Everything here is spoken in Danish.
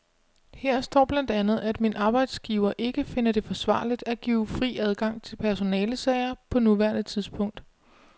Her står blandt andet, at min arbejdsgiver ikke finder det forsvarligt at give fri adgang til personalesager på nuværende tidspunkt.